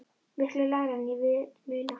Miklu lægra en ég vil muna.